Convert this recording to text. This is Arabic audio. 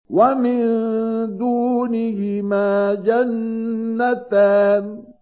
وَمِن دُونِهِمَا جَنَّتَانِ